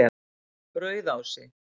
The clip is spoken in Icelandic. Rauðási